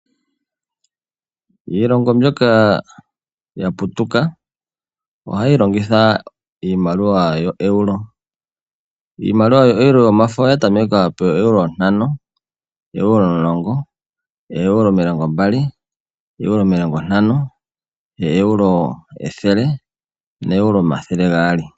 Iilongo mbyoka ya putuka ohayi longitha iimaliwa yoeuro. Iimaliwa yoeuro yomafo oya tameka pooeuro ntano, ooeuro omulongo, ooeuro omilongombali, ooeuro omilongontano, ooeuro ethele nooeuro omathele gaali.